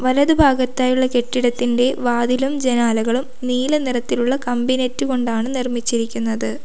വലത് ഭാഗത്തായുള്ള കെട്ടിടത്തിന്റെ വാതിലും ജനാലകളും നീല നിറത്തിലുള്ള കമ്പി നെറ്റ് കൊണ്ടാണ് നിർമ്മിച്ചിരിക്കുന്നത്.